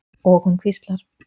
Og hún hvíslar.